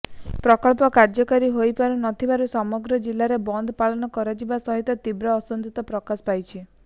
ପ୍ରକଳ୍ପ କାର୍ଯ୍ୟକାରୀ ହୋଇପାରୁ ନଥିବାରୁ ସମଗ୍ର ଜିଲ୍ଲାରେ ବନ୍ଦ୍ ପାଳନ କରାଯିବା ସହିତ ତୀବ୍ର ଅସନ୍ତୋଷ ପ୍ରକାଶ ପାଇଛି